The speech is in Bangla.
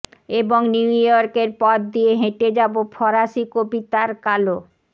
এবং নিউ ইয়র্কের পথ দিয়ে হেঁটে যাবো ফরাসি কবিতার কালো